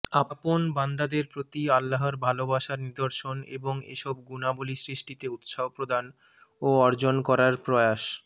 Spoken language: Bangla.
আপন বান্দাদের প্রতি আল্লাহর ভালোবাসার নিদর্শন এবং এসব গুণাবলী সৃষ্টিতে উৎসাহপ্রদান ও অর্জন করার প্রয়াস